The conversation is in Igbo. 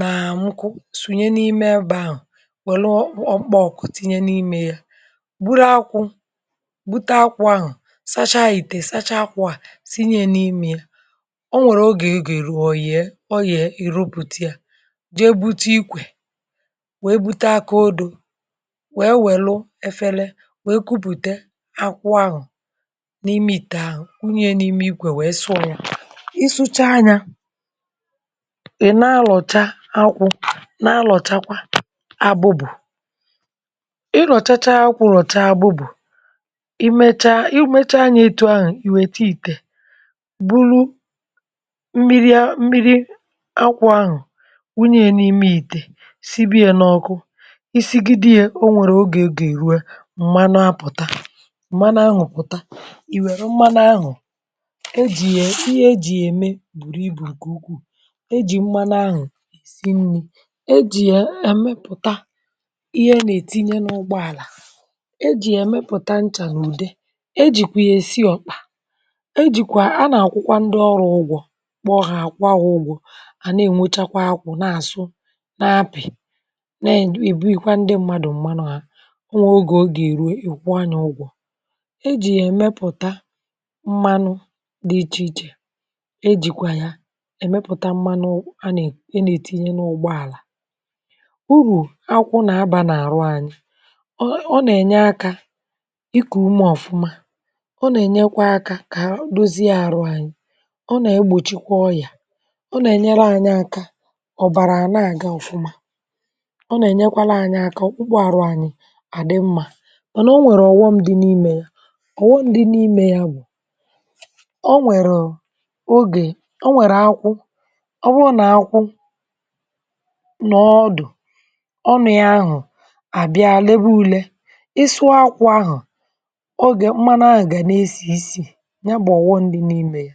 naà nkụ̀ sunyè n’imè ebe shụ̀ welù ọkpọ̀ ọkụ̀ tinyè n’imè yà gburù akwụ̀ gbutà akwụ̀ ahụ̀ sachà itè, sachà akwụ̀ à sinyè yà n’imè yà o nwerè ogè ọ ga-erù, ọ ghè o ghè, i rupùtà yà jeè butà ikwè weè butè akụ̀ odò wee welụ̀ efèlè wee kupùtà akwụ̀ ahụ̀ n’imè itè ahụ̀ wunyè yàn’imè ikwè, wee sụọ̀ yà ị su̇chà nyà ị na-alọchà akwụ̀ na-alọchàkwà agbụ̀bụ̀ ị rọ̀chachà akwụ̀, rọchà agbụ̀bụ̀ i mechà, i mechà nyà etù ahụ̀ i wetà itè bulù mmiri a, mmiri akwụ̀ ahụ̀ wunyè yà n’imè itè sibè yà n’ọkụ̀ isigidè yà o nwerè ogè ọ ga-eruè mmanụ̀ apụ̀tà mmanụ̀ ahụ̀ pụtà i werù mmanụ̀ ahụ̀ e jì yà, ihe e jì yà emè burù ibù nkè ukwuù e jì mmanụ̀ ahụ̀ rì nnì e jì yà emèpùtà ihe a na-etinyè n’ụgbọàlà e jì yà emèpùta nchà nà udè e jìkwà yà esì ọkpà e jikwà a na-akwụ̀kwà ndị̀ ọrụ̀ ugwọ̀ kpọ̀ ha kwọ̀ hà ụgwọ̀ hà na-enwòchàkwà akwụ̀ n’asụ̀ na-apị̀ na-ebunyekwà ndị̀ mmadụ̀ mmanụ̀ hà o nwè ogè ọ ga-erù, i̇ kwọ̀ hà ụgwọ̀ e jì yà emèpụ̀tà mmanụ̀ dị̀ iche ichè e jikwà yà emèpùtà mmanụ̀ a na-etinyè n’ụgbọàlà urù akwụ̀ na-abà n’arụ̀ anyị̀ ọ ọ na-enyè aka ikù umè ọfụ̀mà ọ na-enyekwà aka kà agbụzị̀ arụ̀ anyị̀ ọ na-egbochikwà ọyà ọ na-enyerè anyị̀ aka ọbarà na-agà ọfụ̀mà ọ na-enyèkwarà aka ọkpụ̀kpụ̀ arụ̀ anyị̀ adị̀ mmà mànà o nwerè ọghọm dị̀ n’imè yà kò ndị̀ n’imè bụ̀ o nwerụ̀ ogè o nwerè akwụ̀ ọ bụ̀ na-akwụ̀ nọ̀ ọdụ̀ ọ mịà ahụ̀ a bịà lebà ulè ịsụọ̀ akwụ̀ ahụ̀ ogè mmanụ̀ ahụ̀ gà na-esì nsì yà bụ̀ ọghọm dị̀ n’imè yà